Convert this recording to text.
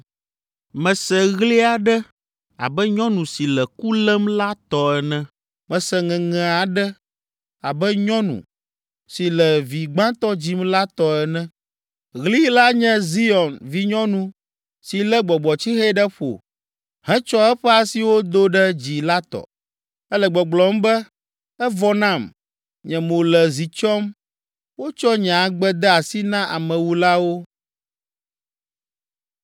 Mese ɣli aɖe abe nyɔnu si le ku lém la tɔ ene. Mese ŋeŋe aɖe abe nyɔnu si le vi gbãtɔ dzim la tɔ ene. Ɣli la nye Zion vinyɔnu si lé gbɔgbɔtsixe ɖe ƒo hetsɔ eƒe asiwo do ɖe dzi la tɔ. Ele gbɔgblɔm be, “Evɔ nam! Nye mo le zi tsyɔm; wotsɔ nye agbe de asi na amewulawo.”